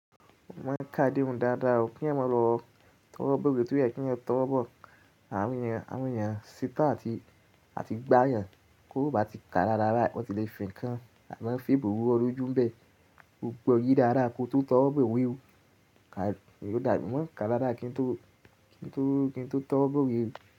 Mo máa ń ká déhun dáadáa, kí ẹ̀yan ma lọ tọwo bọ̀wé tó o yẹ̀ kí ẹ̀yan tọwọ bọ̀. Àwọn èèyàn, àwọn èèyàn ṣetán àti gbá èèyàn kó bá ti ka dáadáa wọ́n sì lè fìnkan àná fi buwọ́ lójú ń bẹ. Ko gbọ́ yé dáadáa kó tó tọwọ́ bọ̀wé. Mo máa ń ká dáadáa kí n tó, kí n tó tọwọ́ bọ̀wé o.